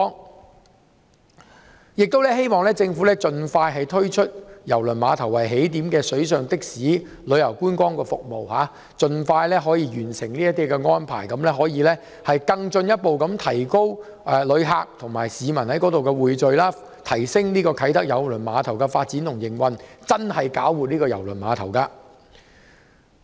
我亦希望政府盡早推出以郵輪碼頭為起點的水上的士及旅遊觀光服務，盡快完成這些安排，進一步提高旅客及市民在該處的匯聚，提升啟德郵輪碼頭的發展及營運，真正搞活郵輪碼頭。